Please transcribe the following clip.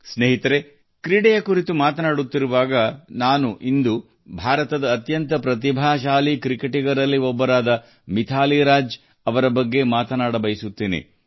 ಸ್ನೇಹಿತರೇ ಕ್ರೀಡೆಯ ವಿಷಯಕ್ಕೆ ಬಂದರೆ ಇಂದು ನಾನು ಭಾರತದ ಅತ್ಯಂತ ಪ್ರತಿಭಾವಂತ ಕ್ರಿಕೆಟಿಗರಲ್ಲಿ ಒಬ್ಬರಾದ ಮಿಥಾಲಿ ರಾಜ್ ಬಗ್ಗೆ ಚರ್ಚಿಸಲು ಬಯಸುತ್ತೇನೆ